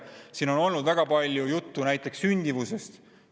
Siin on olnud väga palju juttu sündimusest.